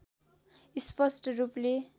स्पष्ट रूपले